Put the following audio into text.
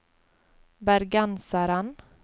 bergenseren